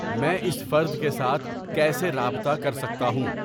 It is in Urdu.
میں اس فرد کے ساتھ کیسے رابطہ کرسکتا ہوں